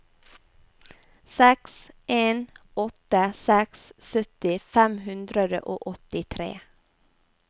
seks en åtte seks sytti fem hundre og åttitre